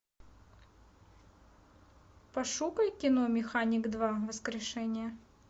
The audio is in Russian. пошукай кино механик два воскрешение